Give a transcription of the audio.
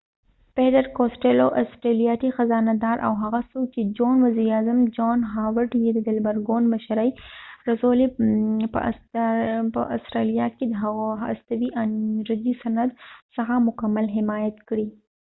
پیټر کاسټیلو peter costello ، استرالیایې خزانه دار او هغه څوک چې وزیر اعظم جان هاورډ john howardیې د لبرل ګوند مشرۍ ته رسولی په استرالیا کې د هستوي انرژی د صنعت څخه مکمل حمایت کړي